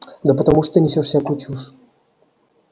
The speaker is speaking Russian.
да потому что ты несёшь всякую чушь